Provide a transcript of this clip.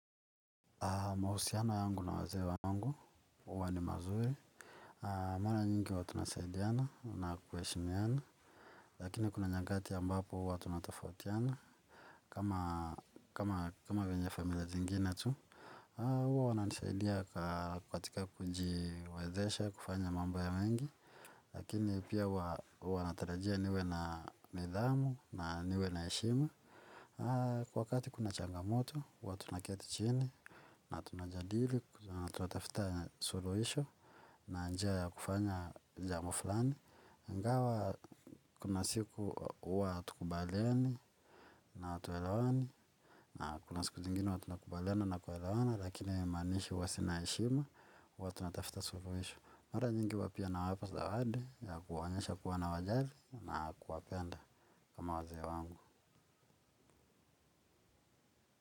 Mahusiano yangu na wazee wangu, huwa ni mazuri. Mara nyingi huwa tunasaidiana na kuheshimiana. Lakini kuna nyakati ambapo huwa tunatofautiana. Kama venye familia zingine tu, huwa wananisaidia katika kujiwezesha kufanya mambo mengi. Lakini pia huwa natarajia niwe na nidhamu na niwe na heshima. Wakati kuna changamoto, huwa tunaketi chini na tunajadili, tunatafuta suluhisho na njia ya kufanya jambo fulani ingawa kuna siku huwa hatukubaliani na watuelawani na kuna siku zingini watuna kubaliana na kuelawana lakini manishi wasinaishima, watuna tafita suru isho mwara nyingi wapia na wapasawadi ya kuwanyesha kuwana wajali na kuwapenda kama waze wangu.